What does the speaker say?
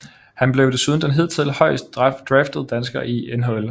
Han blev desuden den hidtil højest draftede dansker i NHL